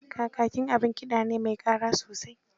Kakaki abin kiɗa ne me ƙara sosai.